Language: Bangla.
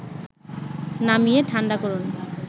নামিয়ে ঠাণ্ডা করুন